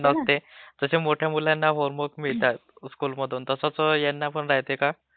हा तेचं जसा मोठ्या मुलांना होमवर्क मिळतात स्कूलमधून तसं ह्यांनापण राहते का..